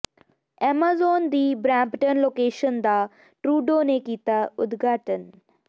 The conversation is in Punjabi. ਐਮਾਜ਼ੋਨ ਦੀ ਬਰੈਂਪਟਨ ਲੋਕੇਸ਼ਨ ਦਾ ਟਰੂਡੋ ਨੇ ਕੀਤਾ ਉਦਘਾਟਨ